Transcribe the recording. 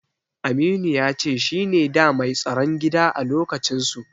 Aminu ya ce shine da mai tsaron gida a lokacinsu.